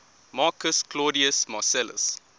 marcus claudius marcellus